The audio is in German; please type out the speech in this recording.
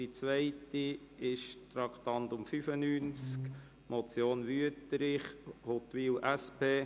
Beim Traktandum 95 handelt es sich um die Motion Wüthrich, Huttwil, SP: